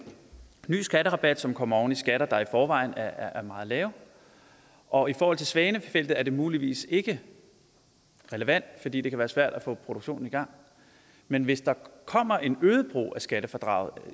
ny skatterabat som kommer oven i skatter der i forvejen er meget lave og i forhold til svanefeltet er det muligvis ikke relevant fordi det kan være svært at få produktionen i gang men hvis der kommer en øget brug af skattefradraget